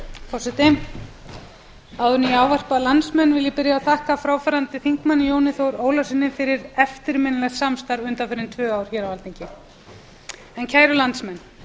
áður en ég ávarpa landsmenn vil ég byrja á að þakka fráfarandi þingmanni jóni þór ólafssyni fyrir eftirminnilegt samstarf undanfarin tvö ár hér á alþingi kæru landsmenn